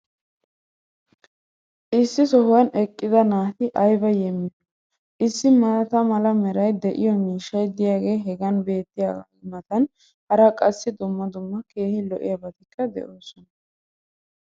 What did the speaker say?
Issi sohuwan eqqida naati aybba yeemoyiyoonaa! Issi maata mala meray de'iyo miishshay diyaagee hagan beetiyaagaa matan hara qassi dumma dumma keehi lo'iyaabatikka de'oosona.